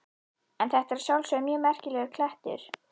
En þetta er að sjálfsögðu mjög merkilegur klettur.